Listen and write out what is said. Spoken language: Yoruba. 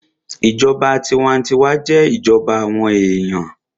Ìjọba tinwatinwa jẹ́ ìjọba àwọn èèyàn